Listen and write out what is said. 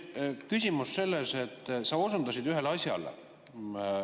Küsimus on selles, et sa osundasid ühele asjale.